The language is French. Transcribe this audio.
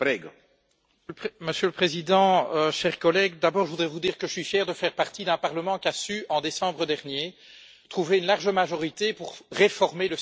Monsieur le Président, chers collègues, d'abord je voudrais vous dire que je suis fier de faire partie d'un Parlement qui a su, en décembre dernier, trouver une large majorité pour réformer le système de Dublin.